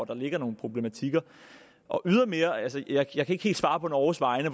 der ligger nogle problematikker jeg kan ikke helt svare på norges vegne